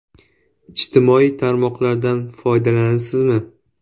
Ijtimoiy tarmoqlardan foydalanasizmi?